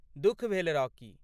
दुःख भेल, रॉकी।